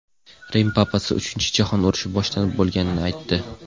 Rim papasi Uchinchi jahon urushi boshlanib bo‘lganini aytdi.